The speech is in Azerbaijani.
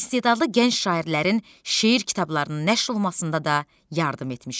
İstedadlı gənc şairlərin şeir kitablarının nəşr olunmasında da yardım etmişəm.